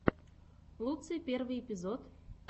луцай первый эпизод